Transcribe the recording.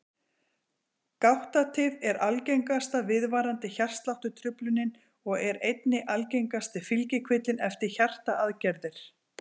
Gáttatif er algengasta viðvarandi hjartsláttartruflunin og er einnig algengasti fylgikvillinn eftir hjartaaðgerðir.